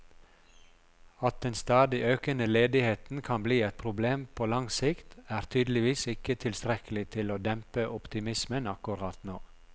At den stadig økende ledigheten kan bli et problem på lang sikt, er tydeligvis ikke tilstrekkelig til å dempe optimismen akkurat nå.